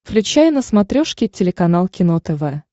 включай на смотрешке телеканал кино тв